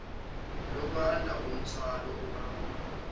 ukwanda komthwalo obangwa